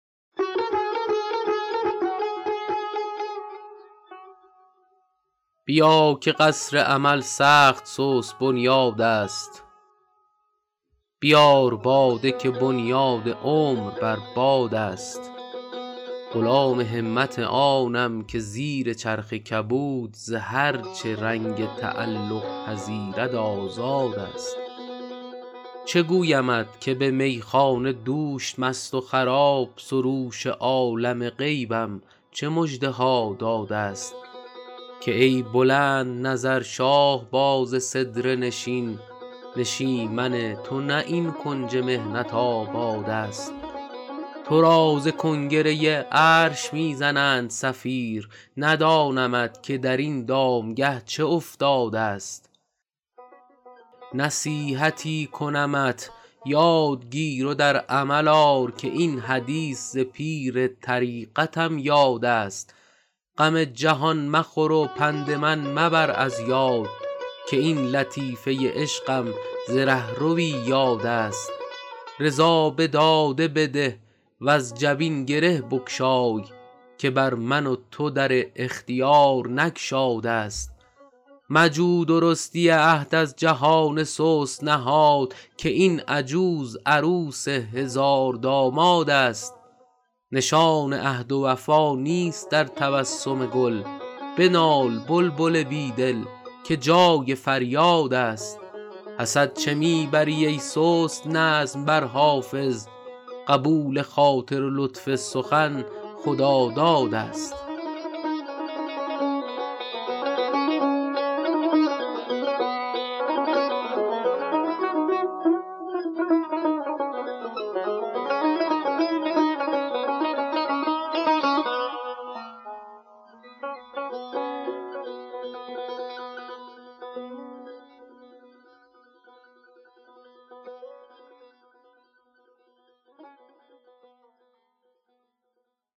بیا که قصر امل سخت سست بنیادست بیار باده که بنیاد عمر بر بادست غلام همت آنم که زیر چرخ کبود ز هر چه رنگ تعلق پذیرد آزادست چه گویمت که به میخانه دوش مست و خراب سروش عالم غیبم چه مژده ها دادست که ای بلندنظر شاهباز سدره نشین نشیمن تو نه این کنج محنت آبادست تو را ز کنگره عرش می زنند صفیر ندانمت که در این دامگه چه افتادست نصیحتی کنمت یاد گیر و در عمل آر که این حدیث ز پیر طریقتم یادست غم جهان مخور و پند من مبر از یاد که این لطیفه عشقم ز رهروی یادست رضا به داده بده وز جبین گره بگشای که بر من و تو در اختیار نگشادست مجو درستی عهد از جهان سست نهاد که این عجوز عروس هزاردامادست نشان عهد و وفا نیست در تبسم گل بنال بلبل بی دل که جای فریادست حسد چه می بری ای سست نظم بر حافظ قبول خاطر و لطف سخن خدادادست